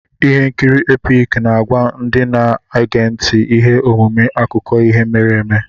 Ihe nkiri Epic na-agwa ndị na-ege ntị ihe omume akụkọ ihe mere eme.